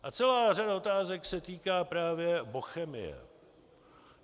A celá řada otázek se týká právě Bochemie.